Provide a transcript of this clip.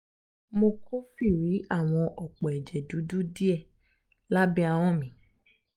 mo kófìrí àwọn òpó ẹ̀jẹ̀ dúdú díẹ̀ lábẹ́ ahọn mí